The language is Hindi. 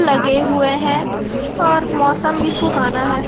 लगे हुए है और मौसम भी सुहाना है।